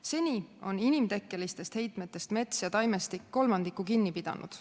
Seni on inimtekkelistest heitmetest mets ja taimestik kolmandiku kinni pidanud.